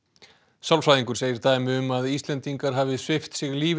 sálfræðingur segir að dæmi um að Íslendingar hafi svipt sig lífi